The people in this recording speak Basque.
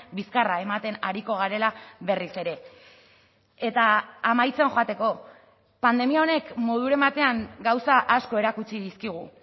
bizkarra ematen ariko garela berriz ere eta amaitzen joateko pandemia honek moduren batean gauza asko erakutsi dizkigu